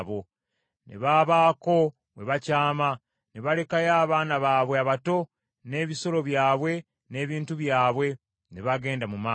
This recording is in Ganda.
Ne babaako we bakyama ne balekayo abaana baabwe abato n’ebisolo byabwe n’ebintu byabwe. Ne bagenda mu maaso.